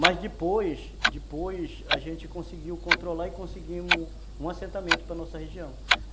Mas depois, depois a gente conseguiu controlar e conseguimos um assentamento para a nossa região. Hum.